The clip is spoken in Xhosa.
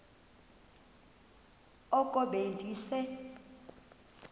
oko be ndise